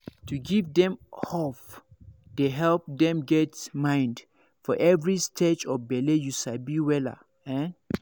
to give dem hope dey help dem get mind for every stage of bele you sabi wella ehn